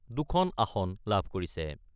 দুখন আসন লাভ কৰিছে।